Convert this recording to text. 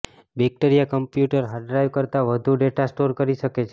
bacteria computer hard drive કરતાં વધુ data store કરી શકે છે